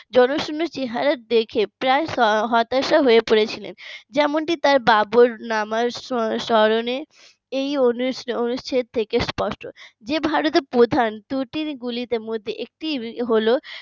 জনশূন্য চেহারা দেখে প্রায় হতাশা হয়ে পড়েছিলেন যেমনটি তার বাবর নামা স্মরণে এই অনু অনুষ্ঠান থেকে স্পষ্ট যে ভারতের প্রধান ত্রুটিগুলির মধ্যে একটি হলো